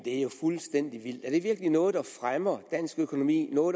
er jo fuldstændig vildt er det virkelig noget der fremmer dansk økonomi og